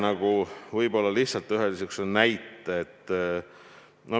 Ma toon lihtsalt ühe niisuguse näite.